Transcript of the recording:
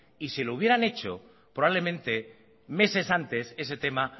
y si lo hubieran hecho probablemente meses antes ese tema